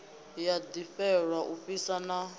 ya ḓivhelwa u fhisa na